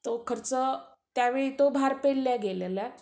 तो खर्च, त्यावेळी तो भार पेलला गेला.